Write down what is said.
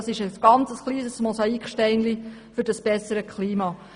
Das ist ein sehr kleines Mosaiksteinchen für dieses bessere Klima.